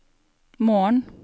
morgen